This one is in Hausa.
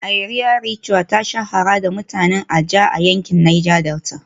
Iria Ritual ta shahara da mutanen ijaw a yankin Niger Delta